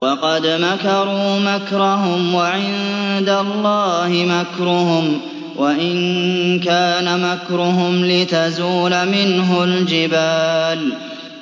وَقَدْ مَكَرُوا مَكْرَهُمْ وَعِندَ اللَّهِ مَكْرُهُمْ وَإِن كَانَ مَكْرُهُمْ لِتَزُولَ مِنْهُ الْجِبَالُ